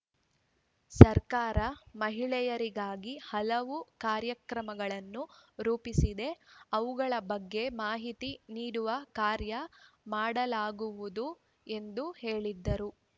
ಸರ್ಕಾರ ಮಹಿಳೆಯರಿಗಾಗಿ ಹಲವು ಕಾರ್ಯಕ್ರಮಗಳನ್ನು ರೂಪಿಸಿದೆ ಅವುಗಳ ಬಗ್ಗೆ ಮಾಹಿತಿ ನೀಡುವ ಕಾರ್ಯ ಮಾಡಲಾಗುವುದು ಎಂದು ಹೇಳಿದರು